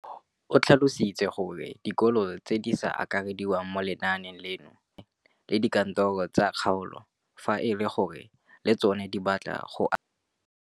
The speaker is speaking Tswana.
O tlhalositse gore dikolo tse di sa akarediwang mo lenaaneng leno di ikopanye le dikantoro tsa kgaolo fa e le gore le tsona di batla go akarediwa.